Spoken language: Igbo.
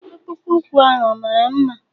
Akpụkpọ ụkwu ahụ ọ mara mma?